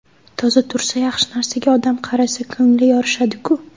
Toza tursa, yaxshi narsaga odam qarasa, ko‘ngili yorishadi-ku”.